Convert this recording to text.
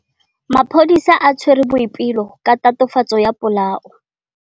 Maphodisa a tshwere Boipelo ka tatofatsô ya polaô.